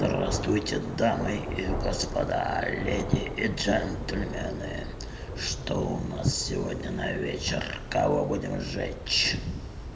здравствуйте дамы и господа леди и джентльмены что у нас сегодня на вечер кого будем жечь